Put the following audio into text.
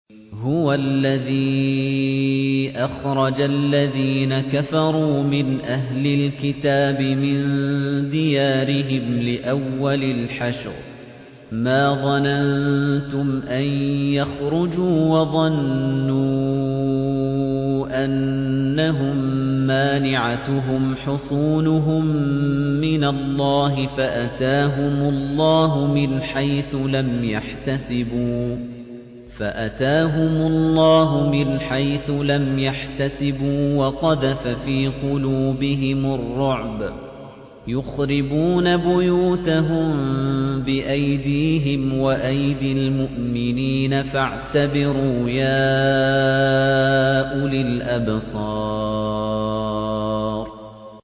هُوَ الَّذِي أَخْرَجَ الَّذِينَ كَفَرُوا مِنْ أَهْلِ الْكِتَابِ مِن دِيَارِهِمْ لِأَوَّلِ الْحَشْرِ ۚ مَا ظَنَنتُمْ أَن يَخْرُجُوا ۖ وَظَنُّوا أَنَّهُم مَّانِعَتُهُمْ حُصُونُهُم مِّنَ اللَّهِ فَأَتَاهُمُ اللَّهُ مِنْ حَيْثُ لَمْ يَحْتَسِبُوا ۖ وَقَذَفَ فِي قُلُوبِهِمُ الرُّعْبَ ۚ يُخْرِبُونَ بُيُوتَهُم بِأَيْدِيهِمْ وَأَيْدِي الْمُؤْمِنِينَ فَاعْتَبِرُوا يَا أُولِي الْأَبْصَارِ